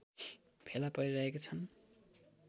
फेला परिरहेका छन्